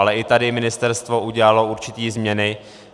Ale i tady ministerstvo udělalo určité změny.